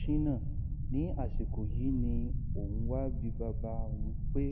shina ní àsìkò yìí ni òun wá bi bàbá òun pé